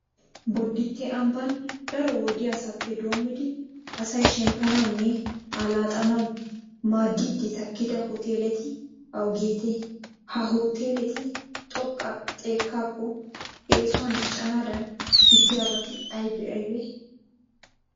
Bodditte ambban daro wodiyasappe doommidi asay shemppanawunne allaxxanawumaaddiiddi takkida hooteeleti awugeetee? Ha hooteeleti xoqqa xekkaakko eesuwan diccennaadan diggiyabati aybee aybee?